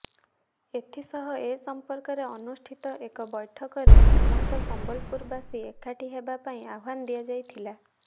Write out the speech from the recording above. ଏଥିସହ ଏ ସମ୍ପର୍କରେ ଅନୁଷ୍ଠିତ ଏକ ବୈଠକରେ ସମସ୍ତ ସମ୍ବଲପୁରବାସୀ ଏକାଠି ହେବା ପାଇଁ ଆହ୍ୱାନ ଦିଆଯାଇଥିଲା